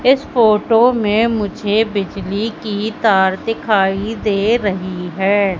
इस फोटो में मुझे बिजली की तार दिखाई दे रही है।